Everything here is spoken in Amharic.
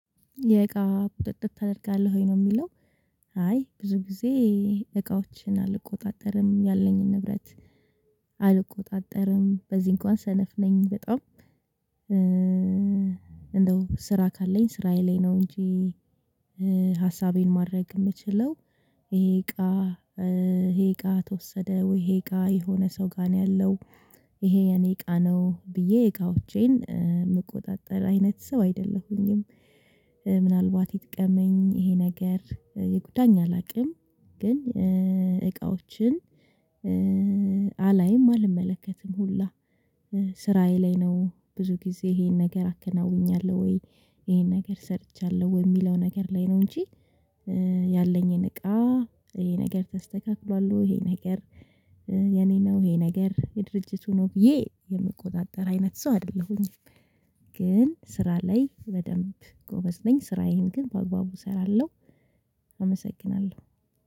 የእቃ ቁጥጥር ታደርጋለህ ወይ? ነው የሚለው አይ ብዙ ጊዜ እቃዎችን አልቆጣጠርም ያለኝን ንብረት አልቆጣጠርም በዚህ እንኳን ሰነፍ ነኝ በጣም ስራ ካለኝ ስራዬ ላይ ነው እንጂ ሀሳቤን ማድረግ የምችለው ይሄ እቃ ይሄ እቃ ተወሰደ ወይ ይሄ እቃ የሆነ ሰው ጋር ነው ያለው ይሄ የኔ እቃ ነው ብዬ እቃዎቼን የምቆጣጠር አይነት ሰው አይደለሁኝም ምናልባት ይጥቀመኝ ይሄ ነገር ይጉዳኝ አላውቅም ግን እቃዎችን አላይም አልመለከትም ሁላ ስራዬ ላይ ነው ብዙ ጊዜ ይሄን ነገር አከናውኛለሁ ወይ ይሄን ነገር ሰርቻለሁ ወይ የሚለው ነገር ላይ ነው እንጂ ያለኝን እቃ ይሄ ነገር ተስተካክሏል ይሄ ነገር የኔ ነው ይሄ ነገር የድርጅቱ ነው ብዬ የምቆጣጠር አይነት ሰው አይደለሁኝም ግን ስራ ላይ በደንብ ጎበዝ ነኝ ስራዬን ግን በአግባቡ እሰራለሁ አመሰግናለሁ